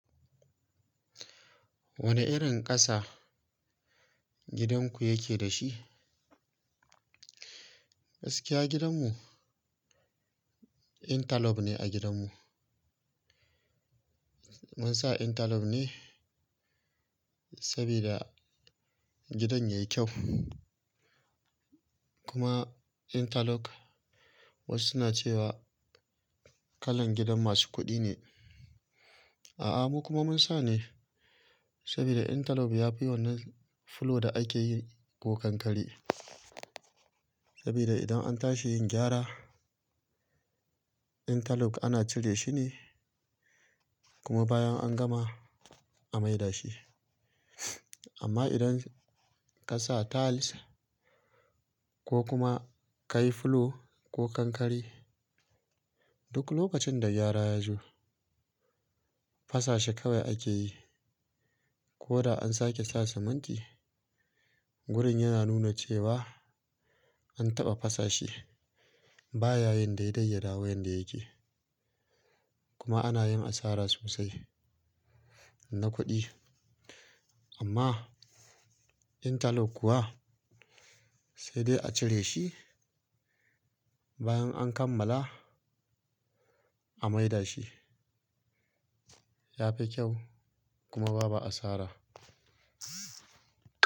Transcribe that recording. Wane irin ƙasa gidan ku yake dashi? Gaskiya gidanmu, intalok ne a gidanmu. Mun sa intalok ne saboda gidan yayi kyau kuma intalok wasu suna cewa kalan gidan masu kuɗi ne. A'a mu kuma mun sa ne saboda intalok ya fi yawan nan fulo da ake yi ko kankare. Saboda idan an tashi yin gyara, intalok ana cire shi ne kuma bayan an gama a maida shi. Amma idan ka sa tiles ko kuma ka yi fulo ko kankare, duk lokacin da gyara ya zo, fasashi kawai ake yi ko da an sake sa siminti. Wurin yana nuna cewa an taɓa fasashi. Ba ya yin daidai ya dawo yadda yake. Kuma ana yin asara sosai na kuɗi. Amma intalok kuwa sai dai a cire shi, bayan an kammala a maida shi. Ya fi kyau kuma babu asara.